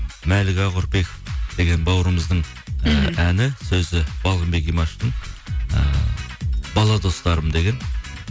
мәлік ақүрпеков деген бауырымыздың әні сөзі балғынбек имашевтың ііі бала достарым деген